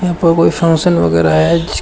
यहां पर कोई फंक्शन वगैरा है जिसके--